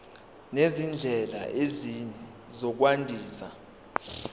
nezindlela ezinye zokwandisa